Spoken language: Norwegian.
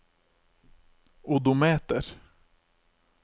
odometer